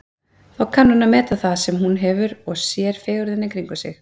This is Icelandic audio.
Þá kann hún að meta það sem hún hefur og sér fegurðina í kringum sig.